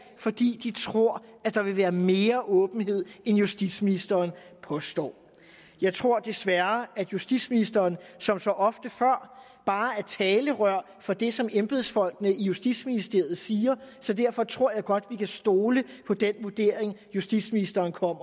fordi de tror at der vil være mere åbenhed end justitsministeren påstår jeg tror desværre at justitsministeren som så ofte før bare er talerør for det som embedsfolkene i justitsministeriet siger så derfor tror jeg godt vi kan stole på den vurdering justitsministeren kommer